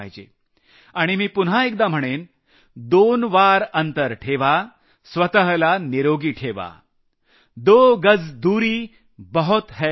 आणि मी पुन्हा एकदा म्हणेन दोन फुट अंतर ठेवा स्वतःला निरोगी ठेवा दो गज दूरी बहुत है जरूरी